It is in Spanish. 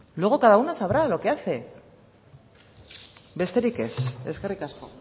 luego cada una sabrá lo que hace besterik ez eskerrik asko